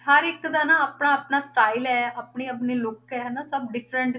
ਹਰ ਇੱਕ ਦਾ ਨਾ ਆਪਣਾ ਆਪਣਾ style ਹੈ ਆਪਣੀ ਆਪਣੀ look ਹੈ ਹਨਾ ਸਭ different